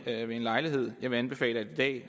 lejlighed jeg vil anbefale at